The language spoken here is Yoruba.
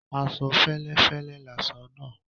Aṣọ féléfélé láṣọ nàà